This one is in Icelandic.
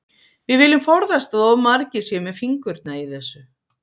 Við viljum forðast að of margir séu með fingurna í þessu.